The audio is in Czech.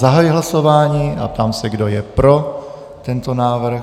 Zahajuji hlasování a ptám se, kdo je pro tento návrh.